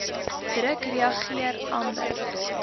druk reageer amber